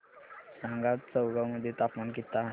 सांगा आज चौगाव मध्ये तापमान किता आहे